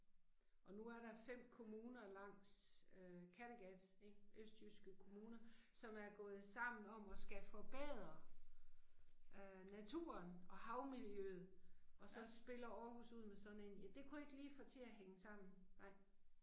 Og nu er der 5 kommuner langs øh Kategat ik, østjyske kommuner, som er gået sammen om at skal forbedre øh naturen og havmiljøet og så spiller Aarhus ud med sådan en, ja det kunne jeg ikke lige få til at hænge sammen, ej